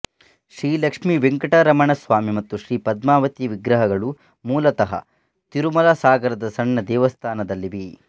ಶ್ರೀ ಲಕ್ಷ್ಮಿ ವೆಂಕಟರಮಣ ಸ್ವಾಮಿ ಮತ್ತು ಶ್ರೀ ಪದ್ಮಾವತಿಯ ವಿಗ್ರಹಗಳು ಮೂಲತಃ ತಿರುಮಲಸಾಗರದ ಸಣ್ಣ ದೇವಸ್ಥಾನದಲ್ಲಿವೆ